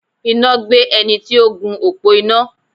Iná gbé ẹni tí ó gun òpó iná.